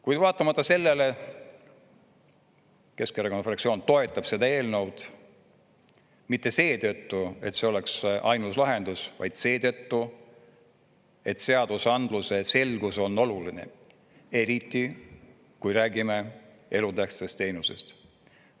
Kuid vaatamata sellele Keskerakonna fraktsioon toetab seda eelnõu, mitte seetõttu, et see oleks ainus lahendus, vaid seetõttu, et seadusandluse selgus on oluline, eriti kui räägime elutähtsast teenusest.